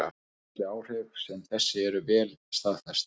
Félagsleg áhrif sem þessi eru vel staðfest.